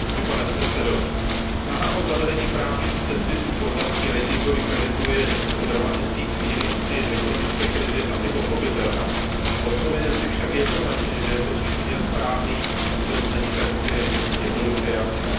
Vážený pane předsedající, snaha o zavedení právních předpisů v oblasti ratingových agentur je po dramatických chvílích při ekonomické krizi asi pochopitelná. Odpovědět si však jednoznačně, že je to směr správný, vůbec není tak jednoduché a jasné.